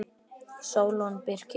Sólon Birkir.